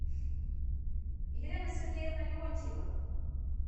елена сергеевна леонтьева